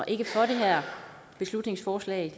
ikke for det her beslutningsforslag